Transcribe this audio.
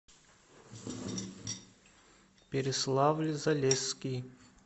переславль залесский